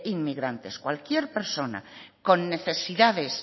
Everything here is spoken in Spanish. inmigrantes cualquier persona con necesidades